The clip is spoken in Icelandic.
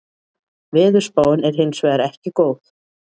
Veðurspáin er hins vegar ekki góð